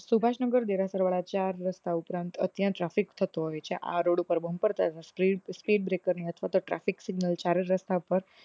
સુભાષ નગર દેરાસર વાળા ચાર રસ્તા ઉપરાંત અત્યંત ટ્ર traffic ફિક થતો હોય છે આ રોડ ઉપર બમ્પર કરવા speed breaker ના traffic signal ચાર હાજર સાલ પર